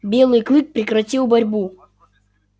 белый клык прекратил борьбу